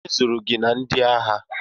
Onye zụrụ gị na ndị agha?